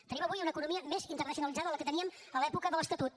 tenim avui una economia més internacionalitzada de la que teníem a l’època de l’estatut